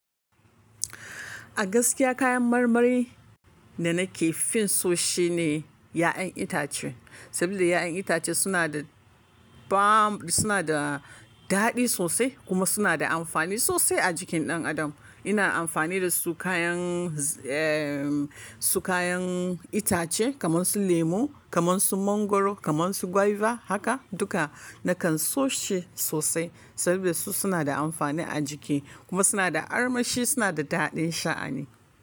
A gaskiya kayan marmari da nake fin so shine ƴaƴan itace. Saboda ƴaƴan itace suna da bam suna da daɗi sosai kuma suna da amfani sosai a jikin ɗan adam. Ina amfani da su kayan, eh su kayan itace kamar su lemo, kamar su mangwaro, kamar su guava haka duka nakan so shi sosai saboda su suna da amfani a jiki kuma suna da armashi suna da daɗin sha a ni.